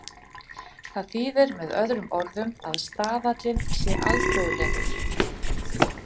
Það þýðir með öðrum orðum að staðallinn sé alþjóðlegur.